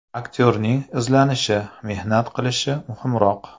Aktyorning izlanishi, mehnat qilishi muhimroq.